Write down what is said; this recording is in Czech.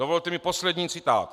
Dovolte mi poslední citát.